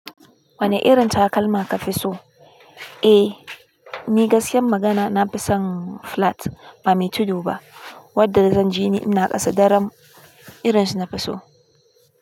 Wane irin takalma ka fi so? Eh, ni gaskiyar magana na fi son flat ba mai tudu ba, wadda zan jini ina ƙasa daram irin shi na fi so.